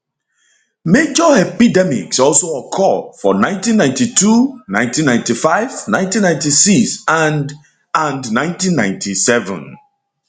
major epidemics also occur for 1992 19951996 and and 1997